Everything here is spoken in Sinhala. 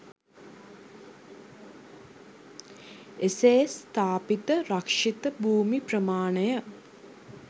එසේ ස්ථාපිත රක්ෂිත භුමි ප්‍රමාණය